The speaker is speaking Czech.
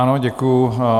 Ano, děkuji.